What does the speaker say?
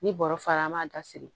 Ni bɔrɔ fara an b'a dasiri